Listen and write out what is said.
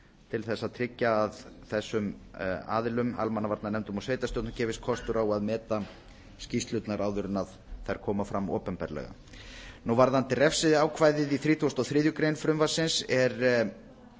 til þess að tryggja að þessum aðilum almannavarnanefndum og sveitarstjórnum gefist kostur á að meta skýrslurnar áður en þær koma fram opinberlega varðandi refsiákvæðið í þrítugasta og þriðju greinar frumvarpsins er